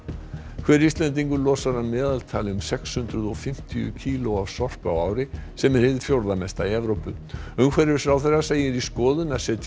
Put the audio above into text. hver Íslendingur losar að meðaltali um sex hundruð og fimmtíu kíló af sorpi á ári sem er hið fjórða mesta í Evrópu umhverfisráðherra segir í skoðun að setja